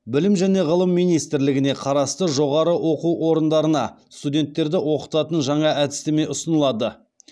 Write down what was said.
білім және ғылым министрлігіне қарасты жоғары оқу орындарына студенттерді оқытатын жаңа әдістеме ұсынылады